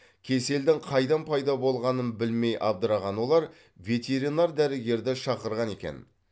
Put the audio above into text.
кеселдің қайдан пайда болғанын білмей абдыраған олар ветеринар дәрігерді шақырған екен